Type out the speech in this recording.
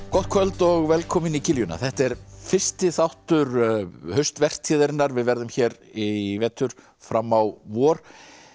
gott kvöld og velkomin í þetta er fyrsti þáttur við verðum hér í vetur fram á vor